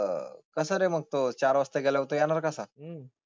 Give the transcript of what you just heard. कस रे मग तो चार वाजता गेल्यावर तो येणार कसा? हम्म.